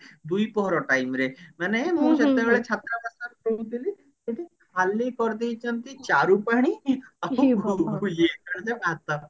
ଦିପହର time ରେ ମାନେ ମୁଁ ସେତେବେଳେ ଛାତ୍ରାବାସରେ ରହୁଥିଲି ସେଠି ଖାଲି କରି ଦେଇଛନ୍ତି ଚାରୁପାଣି ଆଉ ଭାତ